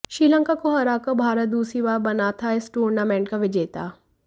श्रीलंका को हराकर भारत दूसरी बार बना था इस टूर्नामेंट का विजेता